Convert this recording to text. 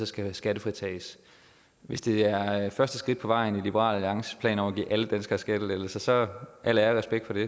skal skattefritages hvis det er er første skridt på vejen i liberal alliances plan om at give alle danskere skattelettelser så al ære og respekt for det